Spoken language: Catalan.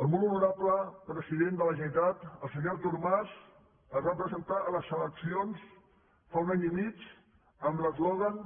el molt honorable president de la generalitat el senyor artur mas es va presentar a les eleccions fa un any i mig amb l’eslògan